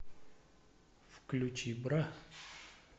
включи бра